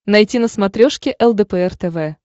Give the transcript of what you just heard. найти на смотрешке лдпр тв